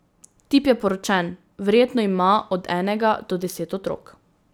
Tip je poročen, verjetno ima od enega do deset otrok.